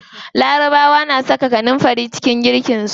Larabawa na saka kanunfari a cikin girkin su.